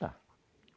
Tá.